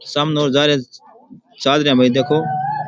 सामने और जाये रा चाल रा है भाई देखो।